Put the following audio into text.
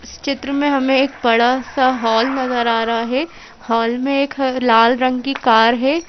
इस चित्र में हमें एक बड़ा सा हॉल नजर आ रहा है हॉल में एक लाल रंग की कार है।